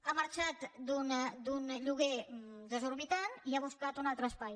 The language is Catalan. ha marxat d’un lloguer desorbitant i ha buscat un altre espai